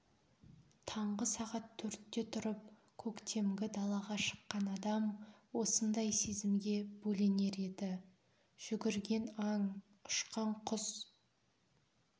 таңғы сағат төртте тұрып көктемгі далаға шыққан адам осындай сезімге бөленер еді жүгірген аң ұшқан құс